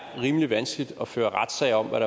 rimelig vanskeligt at føre retssager om hvad